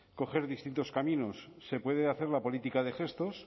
coger distintos caminos se puede hacer la política de gestos